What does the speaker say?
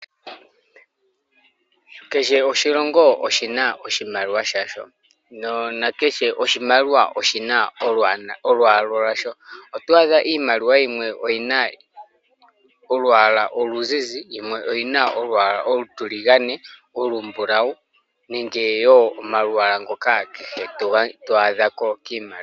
Kehe oshilongo oshina oshimaliwa shasho, nakehe oshimaliwa oshina olwaala lwasho. Otwaadha iimaliwa yimwe oyina olwaala oluzizi, yimwe oyina olwaala olutiligane, olumbulawu, nenge woo omalwaala ngoka kehe twaako kiimaliwa.